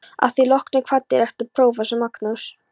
Að því loknu kvaddi rektor prófessor Magnús